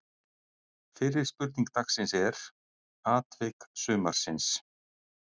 Fyrri spurning dagsins er: Atvik sumarsins?